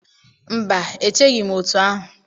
Mba, echeghị m otú ahụ